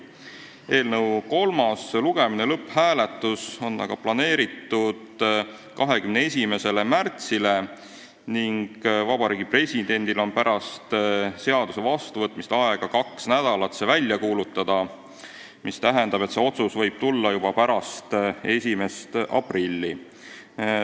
Eelnõu kolmas lugemine, lõpphääletus on aga planeeritud 21. märtsiks ning Vabariigi Presidendil on pärast seaduse vastuvõtmist aega kaks nädalat see välja kuulutada, mis tähendab, et see otsus võib tulla pärast 1. aprilli.